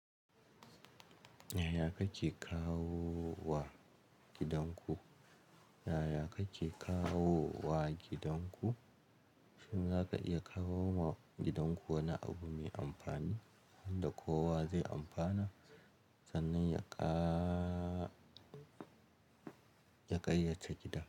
Yaya kake kawo wa gidanku? Yaya kake kawo wa gidanku? Shin zaka iya kawo ma gidanku wani abu mai amfani wanda kowa zai amfana? Sannan ya ƙa-ya ƙayyace gidan.